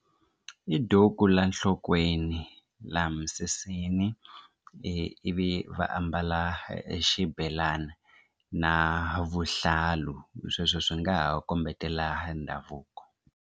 I duku la nhlokweni la misisini i ivi va ambala e xibelana na vuhlalu sweswo swi nga ha kombetela ndhavuko.